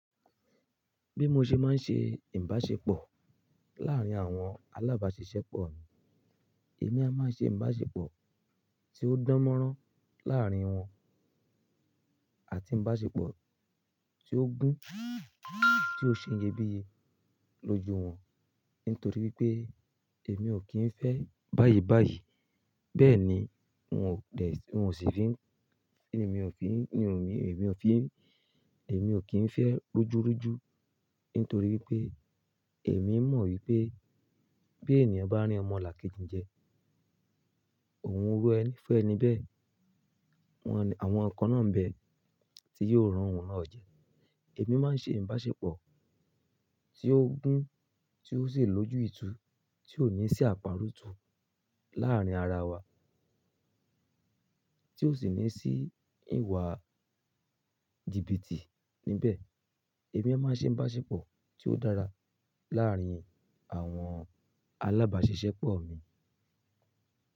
Bí mo ṣe máa ń ṣe Ìbáṣepọ̀ láàárín àwọn alábáṣiṣẹ́pọ̀ mi, èmi a máa ṣe Ìbáṣepọ̀ tí ó dánmọ́rán láàárín wọn àti Ìbáṣepọ̀ tí ó gún, tí ó sì ń ṣe iyebíye lójú wọn nítorí wípé èmi ò kí ń fẹ́ báyìí báyìí. Bẹ́ẹ̀ ni, wọn ò pẹ̀, wọn ò sì fi ń, èmi ò fi ń, ní ò mi, èmi ò fi ń, èmi ò kí ń fẹ́ rújú rújú nítorí wípé èmi mọ̀ wípé bí ènìyàn bá re ọmọlàkejì ń jẹ, òun ru ẹni fẹ́ níbẹ̀. Wọ́n, àwọn nkqn náà ń bẹ tí yóò re òun náà jẹ. Èmi máa ń ṣe Ìbáṣepọ̀ tí ó gún, tí ó sì lójú ìtú, tí ò ní sí àparọ́tù láàrín ara wa, tí ò sì ní sí ìwà jìbìtì níbẹ̀. Èmi a máa ṣe Ìbáṣepọ̀ tí ó dára láàárín àwọn alábáṣiṣẹ́pọ̀ mi.